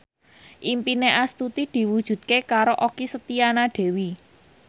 impine Astuti diwujudke karo Okky Setiana Dewi